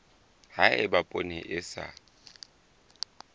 ha eba poone e sa